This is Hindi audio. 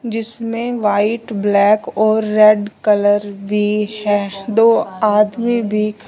जिसमें व्हाइट ब्लैक और रेड कलर भी है दो आदमी भी--